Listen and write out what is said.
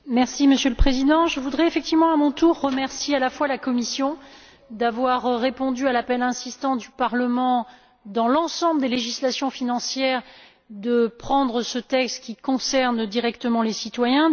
Monsieur le Président, je voudrais effectivement, à mon tour, remercier à la fois la Commission d'avoir répondu à l'appel insistant du Parlement, dans l'ensemble des législations financières, de présenter ce texte qui concerne directement les citoyens.